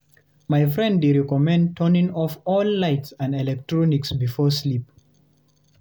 My friend dey recommend turning off all lights and electronics before sleep.